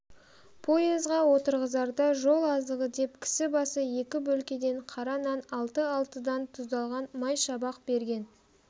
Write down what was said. поезға отырғызарда жол азығы деп кісі басы екі бөлкеден қара нан алты-алтыдан тұздалған май шабақ берген